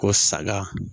Ko saga